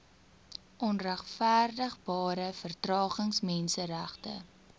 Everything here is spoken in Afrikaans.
onregverdigbare vertragings menseregte